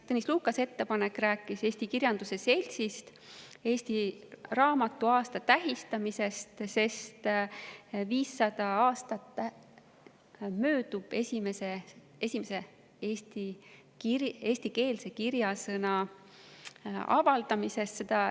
Tõnis Lukase ettepanek rääkis Eesti Kirjanduse Seltsist, eesti raamatu aasta tähistamisest, sest möödub 500 aastat esimese eestikeelse kirjasõna avaldamisest.